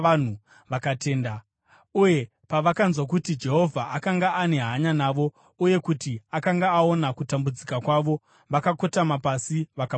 vakatenda. Uye pavakanzwa kuti Jehovha akanga ane hanya navo, uye kuti akanga aona kutambudzika kwavo, vakakotama pasi vakanamata.